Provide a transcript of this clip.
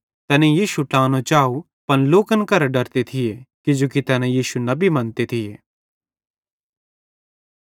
तैनेईं यीशु ट्लानो चाव पन लोकन करां डरते थिये किजोकि तैना यीशु नबी मन्ते थिये